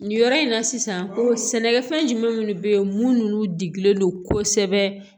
Nin yɔrɔ in na sisan ko sɛnɛkɛfɛn jumɛn minnu bɛ yen minnu digilen don kosɛbɛ